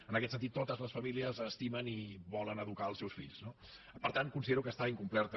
en aquest sentit totes les famílies estimen i volen educar els seus fills no per tant considero que està incompleta